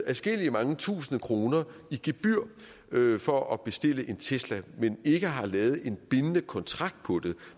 adskillige tusinde kroner i gebyr for at bestille en tesla men ikke har lavet en bindende kontrakt på det